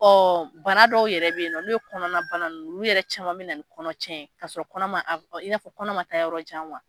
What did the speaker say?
Ɔ bana dɔw yɛrɛ bɛ yen no ye kɔnɔnabana nunnu, nunnu yɛrɛ caman bɛ na ni kɔnɔ tiɲɛ ka sɔrɔ kɔnɔ ma, in fɔ kɔnɔɔ ma taa yɔrɔ jan